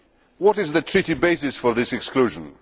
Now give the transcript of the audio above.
What is the Treaty basis for this exclusion?